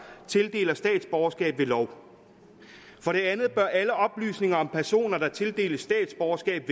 tildeler statsborgerskab ved lov for det andet bør alle oplysninger om personer der tildeles statsborgerskab